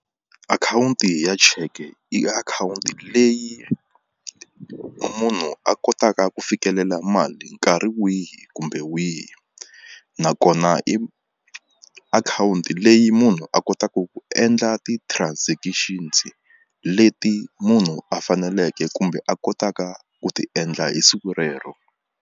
Akhawunti ya check-e i akhawunti leyi munhu a kotaka ku fikelela mali nkarhi wihi kumbe wihi nakona i akhawunti leyi munhu a kotaku ku endla ti-transactions leti munhu a faneleke kumbe a kotaka ku ti endla hi siku rero.